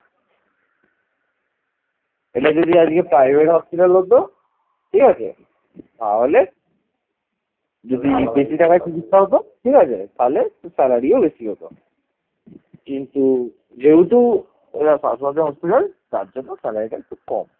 কিন্তু যেহেতু এটা স্বাস্থ্য সাথী hospital তার জন্য salary টা একটু কম